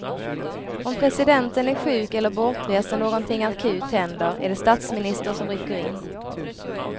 Om presidenten är sjuk eller bortrest när någonting akut händer är det statsministern som rycker in.